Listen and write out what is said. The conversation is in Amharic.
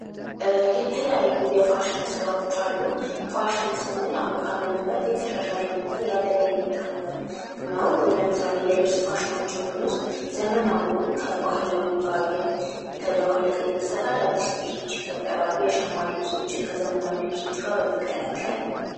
የተለያዩ የፋሽን ስራዎች አሉ ፋሽን ስንል አሁን ካለንበት የተሻሻለ ነገር ነው እያደገ የመጣ ነገር ነው። ዘመናዊውን ከባህላዊ ነገር ጋር እየተደባለቅ እየተሰራ አዳዲስ የሸማ ልብሶች ይፈጠራሉ ።